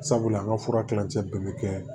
Sabula an ka fura kilancɛ bɛɛ bɛ kɛ